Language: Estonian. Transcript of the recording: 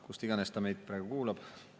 Kus iganes ta meid praegu kuulab.